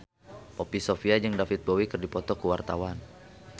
Poppy Sovia jeung David Bowie keur dipoto ku wartawan